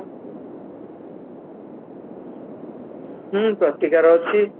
ହୁଁ ପ୍ରତିକାର ଅଛି